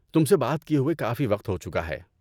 تم سے بات کیے ہوئے کافی وقت ہو چکا ہے۔